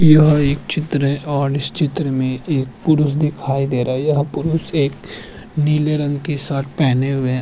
यह एक चित्र है और इस चित्र में एक पुरुष दिखाई दे रहा है और यह पुरुष एक नीले रंग की शर्ट पहेने हुए है।